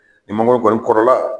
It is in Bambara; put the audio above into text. Ni mangoro kɔni kɔrɔla